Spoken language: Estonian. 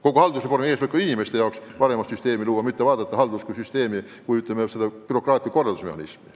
Kogu haldusreformi eesmärk on luua inimeste jaoks parem süsteem, mitte arendada haldust kui bürokraatlikku korraldusmehhanismi.